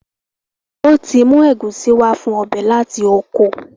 Wón tí mú Egusi wá fún ọbẹ lati okò.